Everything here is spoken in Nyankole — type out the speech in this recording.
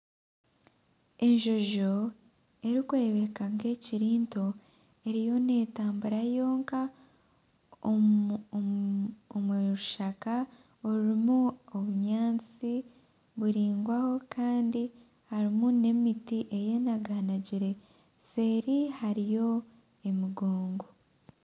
Enjonjo erikureebuka nk'ekiri nto eriyo neetambura yonka omu rushaka orirumu obunyantsi buraingwaho kandi harimu n'emiti eyenaganagire nseeri hariyo emigongo.